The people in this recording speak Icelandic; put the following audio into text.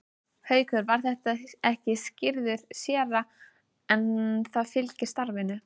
Haukur var ekki skírður séra en það fylgir starfinu.